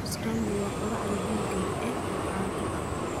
Tofu scramble waa quraacda vegan ee caanka ah.